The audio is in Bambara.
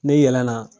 N'i yɛlɛnna